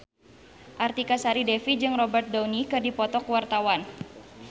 Artika Sari Devi jeung Robert Downey keur dipoto ku wartawan